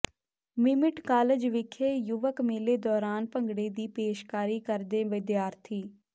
MIMIT college ਵਿਖੇ ਯੁਵਕ ਮੇਲੇ ਦੌਰਾਨ ਭੰਗੜੇ ਦੀ ਪੇਸ਼ਕਾਰੀ ਕਰਦੇ ਵਿਦਿਆਰਥੀ